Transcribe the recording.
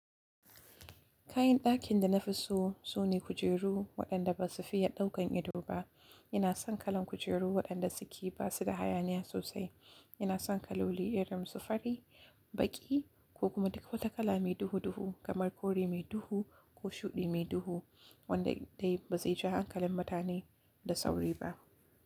Kayan ɗakin da na fi so, su ne kujeru waɗanda ba su fiye ɗaukan ido ba. Ina son kalan kujeru, waɗanda suke ba su da hayaniya sosai. Ina son kaloli irin su fari, baƙi, ko kuma duk wata kala mai duhu-duhu, kamar kore mai duhu, ko shuɗi mai duhu wanda dai ba zai ja hankalin mutane da sauri ba.